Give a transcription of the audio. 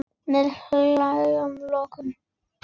Með hnefann á lofti.